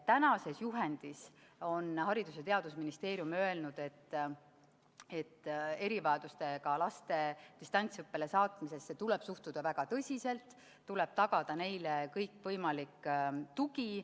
Tänases juhendis on Haridus- ja Teadusministeerium öelnud, et erivajadustega laste distantsõppele saatmisesse tuleb suhtuda väga tõsiselt, tuleb tagada neile kõikvõimalik tugi.